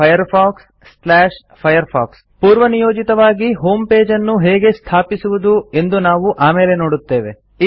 Downloadsfirefoxfirefox ಪೂರ್ವನಿಯೋಜಿತವಾಗಿ ಹೋಮ್ಪೇಜನ್ನು ಹೇಗೆ ಸ್ಥಾಪಿಸುವುದು ಎಂದು ನಾವು ಆಮೇಲೆ ನೋಡುತ್ತೇವೆ